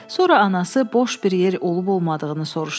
Sonra anası boş bir yer olub-olmadığını soruşdu.